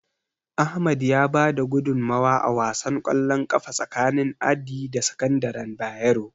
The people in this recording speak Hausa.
Ahmad ya bada gudunmawa a wasan ƙwallon ƙafa tsakanin Addi da sakandaren Bayero.